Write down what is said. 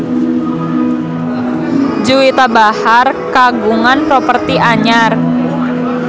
Juwita Bahar kagungan properti anyar